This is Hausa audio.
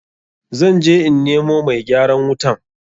Zan je in nemo mai gyaran wutan.